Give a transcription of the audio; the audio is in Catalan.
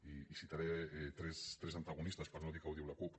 i citaré tres antagonistes per no dir que ho diu la cup